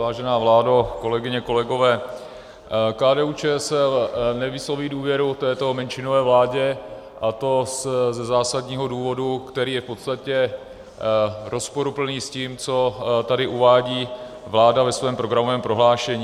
Vážená vládo, kolegyně, kolegové, KDU-ČSL nevysloví důvěru této menšinové vládě, a to ze zásadního důvodu, který je v podstatě rozporuplný s tím, co tady uvádí vláda ve svém programovém prohlášení.